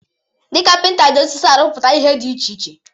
Ndị kapịnta ji osisi arụpụta ihe dị iche iche